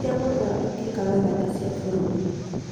Cia matũũra itiĩkaga wega ta cia bũrũri